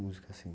Música assim.